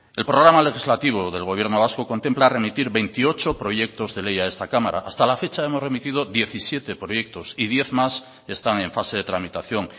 el programa legislativo del gobierno vasco contempla remitir veintiocho proyectos de ley a esta cámara hasta la fecha hemos remitido diecisiete proyectos y diez más están en fase de tramitación